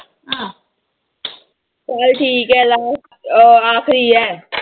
ਚੱਲ ਠੀਕ ਹੈ ਲਾਸ ਅਹ ਆਖ਼ਰੀ ਹੈ।